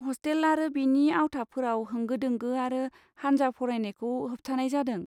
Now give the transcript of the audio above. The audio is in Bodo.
हस्टेल आरो बेनि आवथाफोराव, होंगो दोंगो आरो हानजा फरायनायखौ होबथानाय जादों।